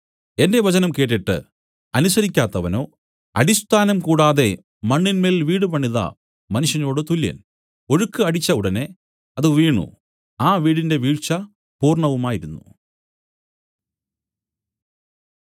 എന്റെ വചനം കേട്ടിട്ട് അനുസരിക്കാത്തവനോ അടിസ്ഥാനം കൂടാതെ മണ്ണിന്മേൽ വീട് പണിത മനുഷ്യനോടു തുല്യൻ ഒഴുക്ക് അടിച്ച ഉടനെ അത് വീണു ആ വീടിന്റെ വീഴ്ച പൂർണ്ണവുമായിരുന്നു